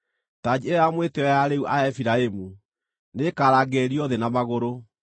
Tanji ĩyo ya mwĩtĩĩo ya arĩĩu a Efiraimu, nĩĩkarangĩrĩrio thĩ na magũrũ.